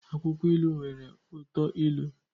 Akwukwo ilu nwere uto ilu